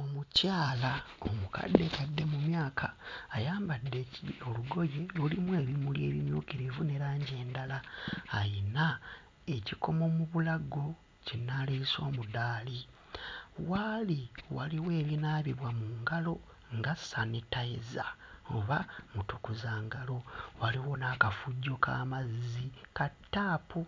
Omukyala omukaddekadde mu myaka ayambadde olugoye lulimu ebimuli ebimyukirivu ne langi endala, ayina ekikomo mu bulago kye nnaaliyise omudaali. W'ali waliwo ebinaabibwa mu ngalo nga sanitiser oba mutukuzangalo. Waliwo n'akafujjo k'amazzi ka ttaapu.